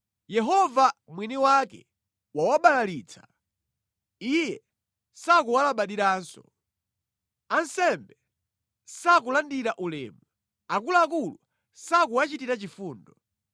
Yehova mwini wake wawabalalitsa; Iye sakuwalabadiranso. Ansembe sakulandira ulemu, akuluakulu sakuwachitira chifundo.